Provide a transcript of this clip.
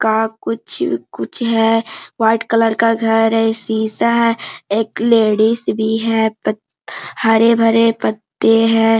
का कुछ कुछ है वाइट कलर का घर है इ शिशा है एक लेडिस भी है प हरे भरे पत्ते हैं।